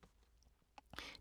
DR K